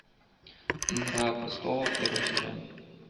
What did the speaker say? игра престолов первый сезон